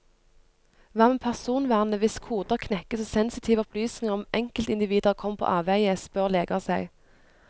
Hva med personvernet hvis koder knekkes og sensitive opplysninger om enkeltindivider kommer på avveie, spør leger seg.